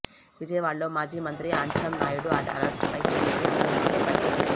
విజయవాడలో మాజీ మంత్రి అచ్చెంనాయుడు అరెస్ట్ పై టీడీపీ ఆందోళనలు చేపట్టింది